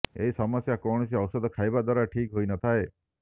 ଏହି ସମସ୍ୟା କୈାଣସି ଔଷଧ ଖାଇବା ଦ୍ବାରା ଠିକ୍ ହୋଇନଥାଏ